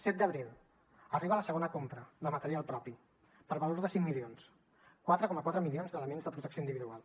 set d’abril arriba la segona compra de material propi per valor de cinc milions quatre coma quatre milions d’elements de protecció individual